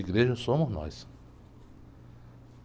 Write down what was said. Igreja somos nós.